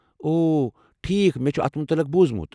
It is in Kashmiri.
اوہ، ٹھیٖکھ، مےٚ چھُ اتھ متعلِق بوُزمُت.